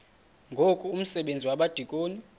ngoku umsebenzi wabadikoni